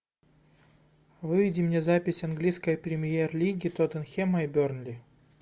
выведи мне запись английской премьер лиги тоттенхэма и бернли